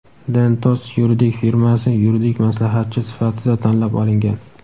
"Dentons" yuridik firmasi yuridik maslahatchi sifatida tanlab olingan.